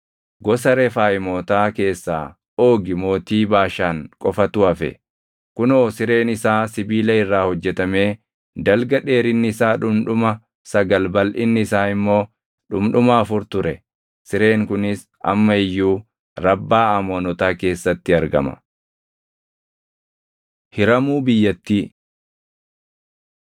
Gosa Refaayimootaa keessaa Oogi mootii Baashaan qofatu hafe. Kunoo sireen isaa sibiila irraa hojjetamee dalga dheerinni isaa dhundhuma sagal balʼinni isaa immoo dhundhuma afur ture. Sireen kunis amma iyyuu Rabbaa Amoonotaa keessatti argama. Hiramuu Biyyattii